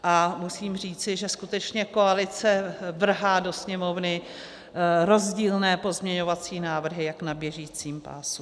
A musím říci, že skutečně koalice vrhá do Sněmovny rozdílné pozměňovací návrhy jak na běžícím pásu.